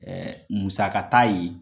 Ɛɛ musaka t'a ye!